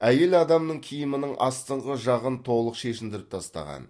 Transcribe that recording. әйел адамның киімінің астыңғы жағын толық шешіндіріп тастаған